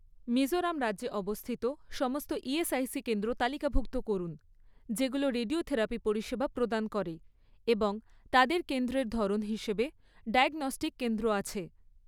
মিজোরাম রাজ্যে অবস্থিত সমস্ত ইএসআইসি কেন্দ্র তালিকাভুক্ত করুন যেগুলো রেডিওথেরাপি পরিষেবা প্রদান করে এবং তাদের কেন্দ্রের ধরন হিসাবে ডায়াগনস্টিক কেন্দ্র আছে